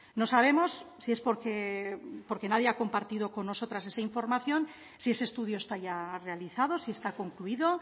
no sabemos si es porque porque nadie ha compartido con nosotras esa información si ese estudio está ya realizado si está concluido